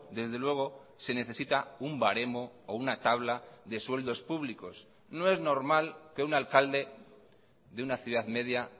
desde luego se necesita un baremo o una tabla de sueldos públicos no es normal que un alcalde de una ciudad media